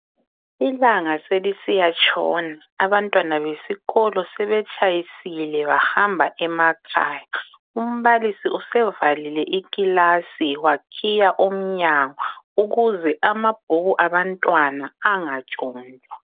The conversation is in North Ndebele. Ilanga selisiyatshona. Abantwana besikolo sebetshayisile bahamba emakhaya. Umbalisi usevalile ikilasi wakhiya umnyango ukuze amabhuku abantwana angatshontshwa.